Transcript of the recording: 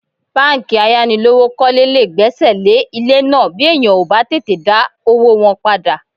Báńkì ayánilówókọ́lé lè gbẹ́sẹ̀ lé ilé náà bí èèyàn ò bá tètè dá owó wọn padà